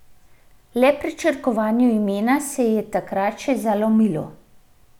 Le pri črkovanju imena se ji je takrat še zalomilo.